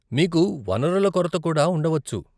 మీకు వనరుల కొరత కూడా ఉండవచ్చు.